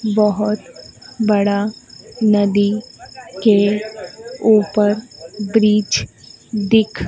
बहोत बड़ा नदी के ऊपर ब्रिज दिख--